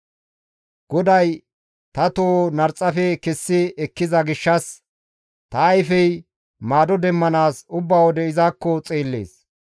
GODAY ta toho narxafe kessi ekkiza gishshas, ta ayfey maado demmanaas ubba wode izakko xeellees.